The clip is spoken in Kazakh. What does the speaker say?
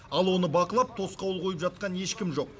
ал оны бақылап тосқауыл қойып жатқан ешкім жоқ